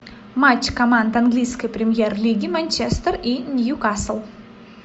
матч команд английской премьер лиги манчестер и ньюкасл